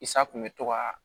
I sa kun bɛ to ka